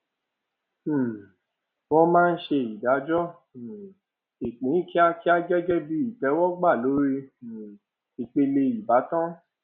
um wọn máa ń ṣe ìdájọ um ìpín kíákíá gẹgẹ bí ìtẹwọgbà lórí um ìpìlẹ ìbátan